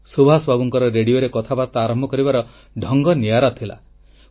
ସୁଭାଷ ବାବୁଙ୍କର ରେଡ଼ିଓରେ କଥାବାର୍ତ୍ତା ଆରମ୍ଭ କରିବାର ଢଙ୍ଗ ନିଆରା ଥିଲା